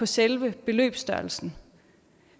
selve beløbsstørrelsen